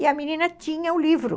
E a menina tinha o livro.